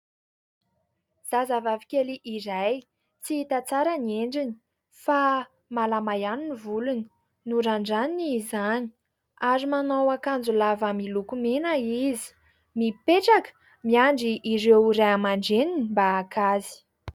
Zazavavikely iray, tsy hita tsara ny endriny fa malama ihany ny volony, norandraniny izany ary manao akanjo lava miloko mena izy. Mipetraka ary miandry ireo Ray amandReniny mba haka azy.